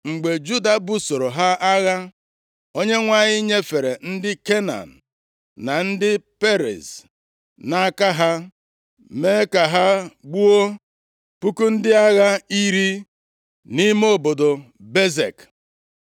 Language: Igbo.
Mgbe Juda busoro ha agha, Onyenwe anyị nyefere ndị Kenan, na ndị Periz nʼaka ha, mee ka ha gbuo puku ndị agha iri nʼime obodo Bezek.